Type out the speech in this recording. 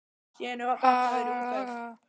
Þórhildur: Er þetta skemmtilegt?